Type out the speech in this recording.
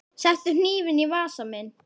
Settu hnífinn í vasa minn.